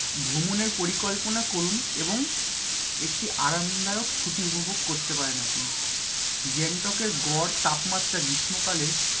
ভ্রমণের পরিকল্পনা করুন এবং একটি আরামদায়ক ছুটি উপভোগ করতে পারেন আপনি। গ্যাংটক এর গড় তাপমাত্রা গ্রীষ্মকালে,